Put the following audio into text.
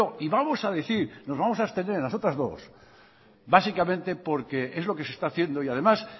no y vamos a abstener en las otras dos básicamente porque es lo que se está haciendo y además